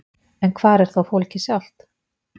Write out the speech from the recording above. En hvar er þá fólkið sjálft?